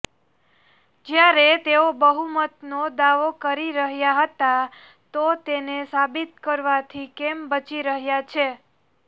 જ્યારે તેઓ બહુમતનો દાવો કરી રહ્યા હતા તો તેને સાબિત કરવાથી કેમ બચી રહ્યા છે